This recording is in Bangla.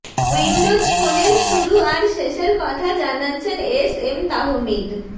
উইন্ডোজ ফোনের শুরু আর শেষের কথা জানাচ্ছেন এস এম তাহমিদ